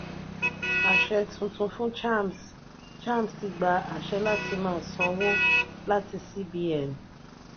aṣẹ tuntun fún chams: chams ti gba àṣẹ láti má sanwó láti cbn.